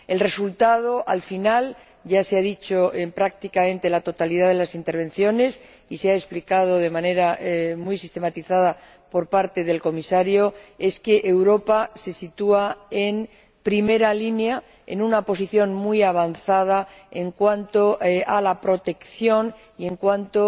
El resultado, al final, ya se ha dicho en prácticamente la totalidad de las intervenciones y se ha explicado de manera muy sistematizada por parte del Comisario, es que Europa se sitúa en primera línea, en una posición muy avanzada en cuanto a la protección y en cuanto